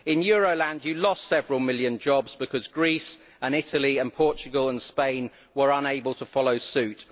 In Euroland, you lost several million jobs because Greece, Italy, Portugal and Spain were unable to follow suit.